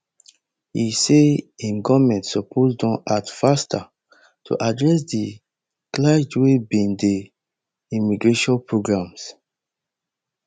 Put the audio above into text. e say im goment suppose don act faster to address di kleg wey bin dey immigration programmes